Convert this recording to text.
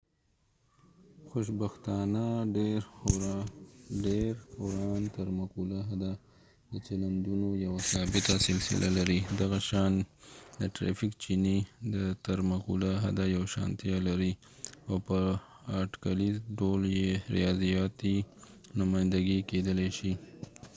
خوشبختانه ډېراوران تر مقوله حده د چلندونو یوه ثابته سلسله لري دغه شان د ټرېفک چېنې د تر مقوله حده یوشانتیا لري او په اټکلیز ډول يې ریاضیاتي نمایندګي کېدلای شي